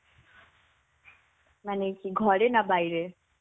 মানে কি ঘরে না বাইরে?